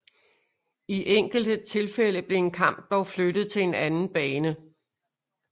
I enkelte tilfælde blev en kamp dog flyttet til en anden bane